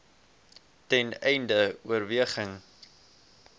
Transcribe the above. ten einde oorweging